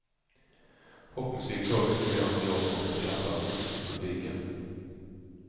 Popmusik tål mycket mer av teater och en skarpare gräns till publiken.